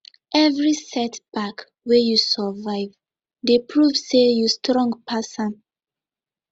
evri setback wey yu survive dey prove say yu strong pass am